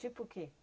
Tipo o que?